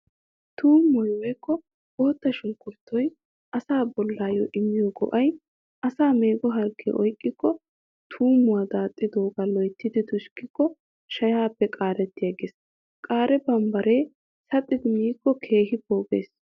Tuummoy woykko bootta sunkkuruutoy asaa bollaayyo immiyo go'ay:- asaa meego harggee oyqqikko tuummuwaa daaxxidoogaa loyttidi tushikko shayaappe qaariigees. Qaare bambbaree saxxidi miikko keehi poogees.